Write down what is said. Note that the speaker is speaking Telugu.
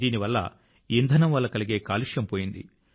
దీని వల్ల ఇంధనం వల్ల కలిగే కాలుష్యం పోయింది